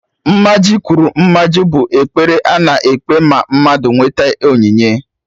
"Mmaji pụrụ Mmaji" bụ ekpere a na-ekpe ma mmadụ nwete onyinye